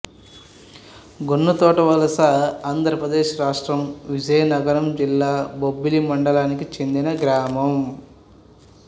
గున్నతోటవలస ఆంధ్ర ప్రదేశ్ రాష్ట్రం విజయనగరం జిల్లా బొబ్బిలి మండలానికి చెందిన గ్రామం